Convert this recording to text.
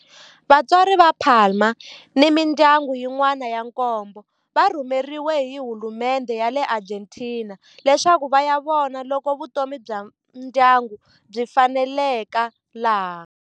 Vatswari va Palma ni mindyangu yin'wana ya nkombo va rhumeriwe hi hulumendhe ya le Argentina leswaku va ya vona loko vutomi bya ndyangu byi faneleka laha.